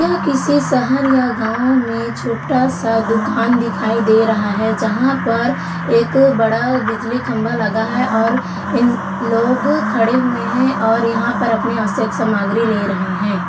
यह किसी शहर या गांव में छोटा सा दुकान दिखाए दे रहा है जहां पर एक बड़ा बिजली खम्बा लगा है और इन लोग खड़े हुए हैं और यहाँ पर अपने आवश्यक सामग्री ले रहे हैं।